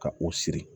Ka o siri